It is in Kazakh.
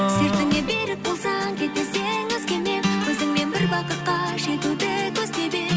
сертіңе берік болсаң кетпес едің өзгемен өзіңмен бір бақытқа жетуді көздеп едім